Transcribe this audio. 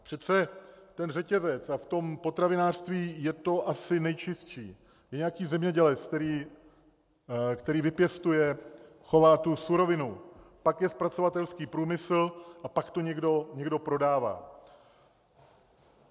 Přece ten řetězec, a v tom potravinářství je to asi nejčistší - je nějaký zemědělec, který vypěstuje, chová tu surovinu, pak je zpracovatelský průmysl a pak to někdo prodává.